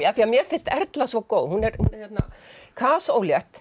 af því mér finnst Erla svo góð hún er